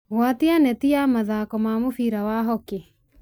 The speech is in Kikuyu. gwatia neti ya mathaako ma mũbira wa hockey